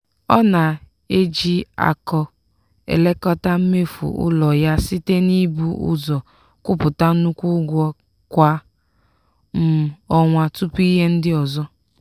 ọ na-eji akọ elekọta mmefu ụlọ ya site n'ibu ụzọ kwụpụta nnukwu ụgwọ kwa um ọnwa tupu ihe ndị ọzọ.